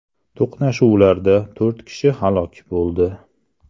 To‘qnashuvlarda to‘rt kishi halok bo‘ldi .